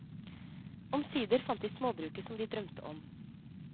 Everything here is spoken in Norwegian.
Omsider fant de småbruket som de drømte om.